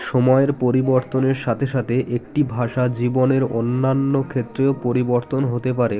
সময়ের পরিবর্তনের সাথে সাথে একটি ভাষা জীবনের অন্যান্য ক্ষেত্রেও পরিবর্তন হতে পারে